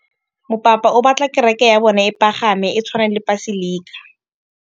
Mopapa o batla kereke ya bone e pagame, e tshwane le paselika.